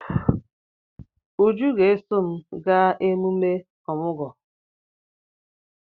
Uju ga-eso m gaa ememe ọmụgwọ.